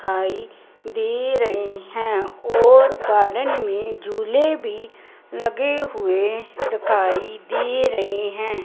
दिखाई दे रहे हैं और गार्डन में झूले भी लगे हुए दिखाई दे रहे हैं।